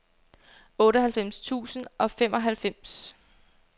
otteoghalvfems tusind og femoghalvfems